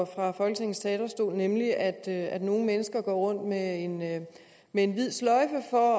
fra folketingets talerstol nemlig at at nogle mennesker går rundt med en med en hvid sløjfe for